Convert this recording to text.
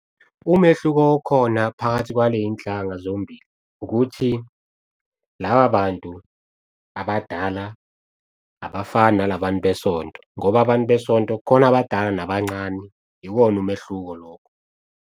Umehluko okhona phakathi kwaley'nhlanga zombili ukuthi laba bantu abadala, abafani nala bantu besonto ngoba abantu besonto kukhona abadala nabancane. Iwona umehluko lokho.